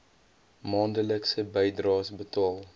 maandelikse bydraes betaal